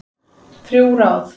Þrjú ráð